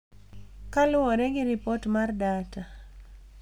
Kaluwore gi Ripot mar Data,